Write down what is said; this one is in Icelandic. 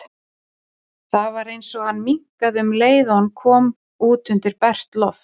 Það var eins og hann minnkaði um leið og hann kom út undir bert loft.